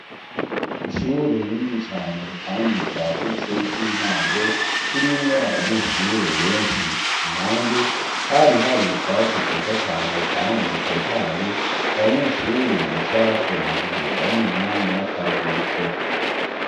ishure rinini cane kandi ryagutse ry'intango ririmwo abanyeshure benshi impande hari hari utwatsi twiza cane kandi dutotaye abanyeshure bicarako mu gihe bari mu mwanya w'akaruhuko